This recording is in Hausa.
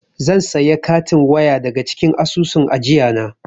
Zan saya katin waya daga cikin asusun ajiyana.